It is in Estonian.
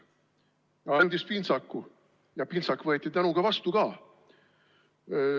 Ta andis pintsaku ja pintsak võeti tänuga vastu ka.